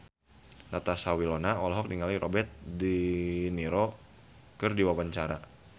Natasha Wilona olohok ningali Robert de Niro keur diwawancara